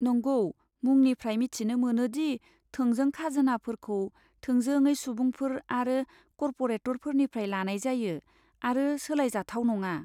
नंगौ, मुंनिफ्राय मिथिनो मोनो दि थोंजों खाजोनाफोरखौ थोंजोङै सुबुंफोर आरो कर्परेटफोरनिफ्राय लानाय जायो आरो सोलायजाथाव नङा।